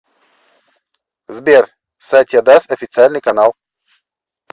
сбер сатья дас официальный канал